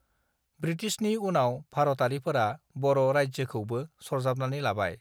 बृटिसनि उनाव भारतआरिफोरा बर राज्योखौबो सरजाबनानै लाबाय